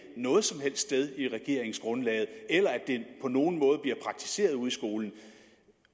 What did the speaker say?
noget som helst sted i regeringsgrundlaget eller at det på nogen måde bliver praktiseret ude i skolerne